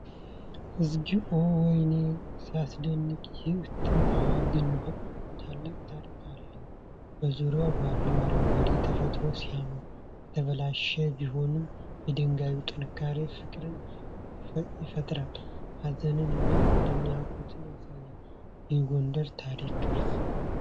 እግዚኦ! ወይኔ ሲያስደንቅ! ይህ ጥንታዊ ግንብ ታላቅ ታሪክ አለው። በዙሪያው ባለው አረንጓዴ ተፈጥሮ ሲያምር። የተበላሸ ቢሆንም፣ የድንጋዩ ጥንካሬ ፍቅርን ይፈጥራል። ሃዘንን እና አድናቆትን ያሳያል። የጎንደር ታሪክ ቅርስ!